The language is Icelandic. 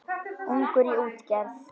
Ungur í útgerð